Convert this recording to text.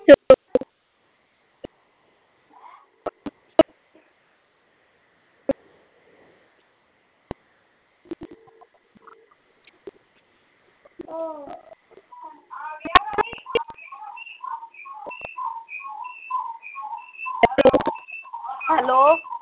hello